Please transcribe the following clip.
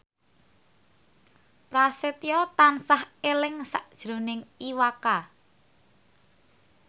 Prasetyo tansah eling sakjroning Iwa K